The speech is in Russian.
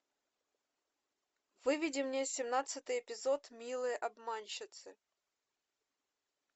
выведи мне семнадцатый эпизод милые обманщицы